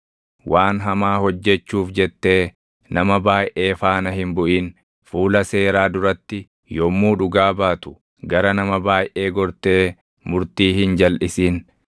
“Waan hamaa hojjechuuf jettee nama baayʼee faana hin buʼin. Fuula seeraa duratti yommuu dhugaa baatu, gara nama baayʼee gortee murtii hin jalʼisin;